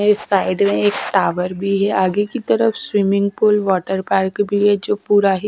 इस साइड में एक टावर भी है आगे की तरफ स्विमिंग पूल वाटर पार्क भी है जो पूरा--